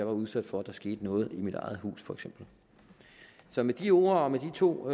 var udsat for at der skete noget i mit eget hus så med de ord og med de to